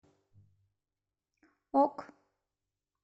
ок